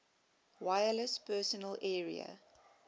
wireless personal area